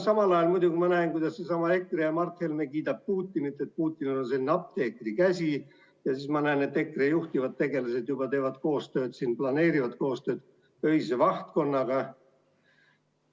Samal ajal ma muidugi näen, kuidas seesama EKRE ja Mart Helme kiidavad Putinit, et Putinil on selline apteekrikäsi, ja siis ma näen, et EKRE juhtivad tegelased juba teevad koostööd või planeerivad koostööd Öise Vahtkonnaga.